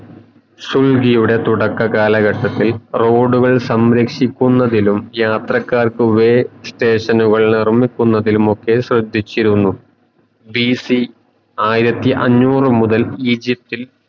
സൗദ്യയുടെ തുടക്ക കലാഘട്ടത്തിൽ road കൾ സംരക്ഷിക്കുന്നതിലും യാത്രക്കാരുടെ വേ station ങ്ങുകളിറക്കുന്നതിലും ഒക്കെ ശ്രദ്ദിച്ചിരുന്നു